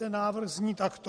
Ten návrh zní takto.